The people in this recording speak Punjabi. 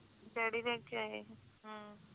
daddy ਲੈ ਕੇ ਆਏ ਹੀ ਹਮ